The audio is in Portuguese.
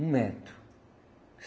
Um metro.